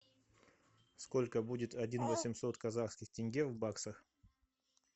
сколько будет один восемьсот казахских тенге в баксах